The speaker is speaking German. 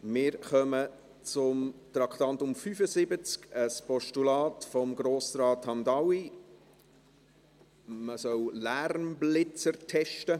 Wir kommen zum Traktandum 75, einem Postulat von Grossrat Hamdaoui, man solle Lärmblitzer testen.